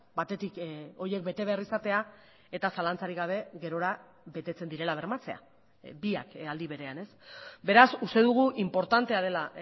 batetik horiek bete behar izatea eta zalantzarik gabe gerora betetzen direla bermatzea biak aldi berean beraz uste dugu inportantea dela